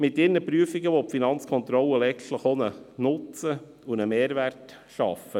Mit ihren Prüfungen will die Finanzkontrolle letztlich auch einen Nutzen und Mehrwert schaffen.